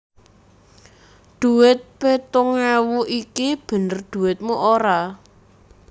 Dhuwit pitung ewu iki bener dhuwitmu ora